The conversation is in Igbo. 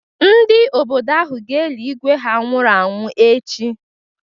Ndị obodo ahụ ga-eli Ígwé ha nwụrụ anwụ echi.